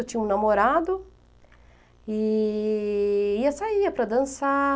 Eu tinha um namorado e ia e saía para dançar.